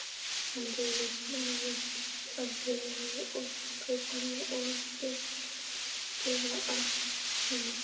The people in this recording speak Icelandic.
Hann reif sig úr peysunni og hitinn gufaði af honum.